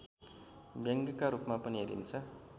व्यङ्ग्यका रूपमा पनि हेरिन्छ